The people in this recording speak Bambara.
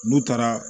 N'u taara